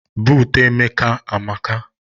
Buutu Emeka amaka.